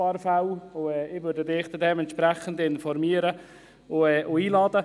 Ich werde Sie entsprechend informieren und einladen.